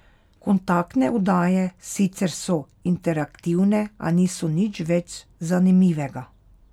Kontaktne oddaje sicer so interaktivne, a niso nič več zanimivega.